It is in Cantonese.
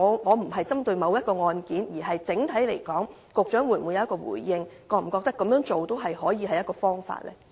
我並非針對某宗案件，而是整體而言，局長可否回應，認為這樣做也是一種方法呢？